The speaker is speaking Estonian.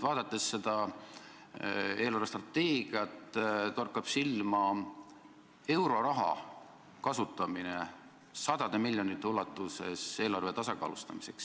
Vaadates eelarvestrateegiat, torkab silma sadade miljonite ulatuses euroraha kasutamine eelarve tasakaalustamiseks.